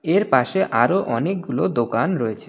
এর পাশে আরো অনেকগুলো দোকান রয়েছে.